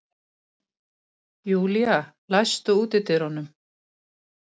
Júlla, læstu útidyrunum.